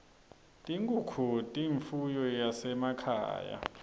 tinkhunkhu tiyimfuyo yasema khaye